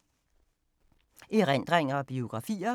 Erindringer og biografier